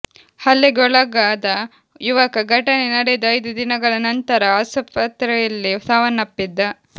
ಹಲ್ಲೆಗೆ ಒಳಗಾದ ಯುವಕ ಘಟನೆ ನಡೆದು ಐದು ದಿನಗಳ ನಂತರ ಆಸ್ಪತ್ರೆಯಲ್ಲಿ ಸಾವನ್ನಪ್ಪಿದ್ದ